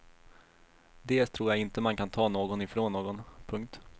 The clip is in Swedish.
Dels tror jag inte man kan ta någon ifrån någon. punkt